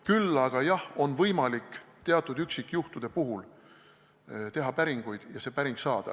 Küll aga on võimalik, jah, teatud üksikjuhtude puhul teha päringuid ja see päring saada.